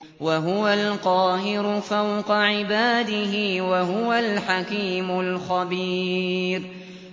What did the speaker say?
وَهُوَ الْقَاهِرُ فَوْقَ عِبَادِهِ ۚ وَهُوَ الْحَكِيمُ الْخَبِيرُ